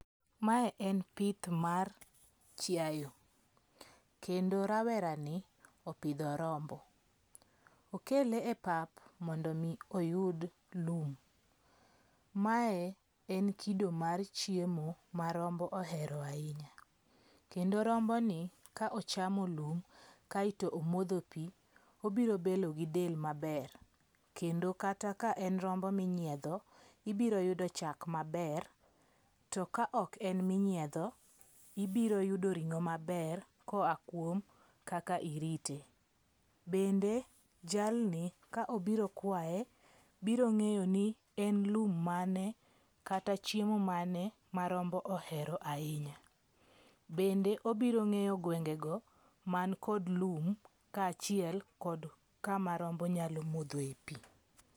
Mae en pith mar chiaye. Kendo rawera ni opidho rombo. Okele e pap mondo mi oyud lum. Mae en kido mar chiemo ma rombo ohero ahinya. Kendo rombo ni ka ochamo lum kaeto omodho pi, obiro bedo gi del maber. Kendo kata ka en rombo minyiedho, ibiro yudo chak maber. To ka ok en minyiedho, ibiro yudo ring'o maber koa kuom kaka irite. Bende jalni ka obiro kwaye biro ng'eyo ni en lum mane kata chiemo mane ma rombo ohero ahinya. Bende obiro ng'eyo gwenge go man kod lum ka achiel kod kama rombo nyalo modho e pi.